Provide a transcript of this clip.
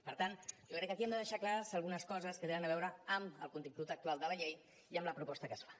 per tant jo crec que aquí hem de deixar clares algunes coses que tenen a veure amb el contingut actual de la llei i amb la proposta que es fa